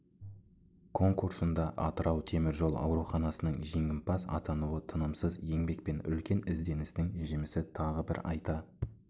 конурсында атырау теміржол ауруханасының жеңімпаз атануы тынымсыз еңбек пен үлкен ізденістің жемісі тағы бір айта